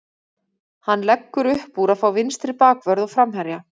Hann leggur uppúr að fá vinstri bakvörð og framherja.